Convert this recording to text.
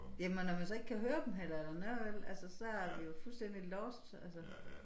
Jamen når man så ikke kan høre dem heller eller noget vel altså så er vi jo fuldstændig lost altså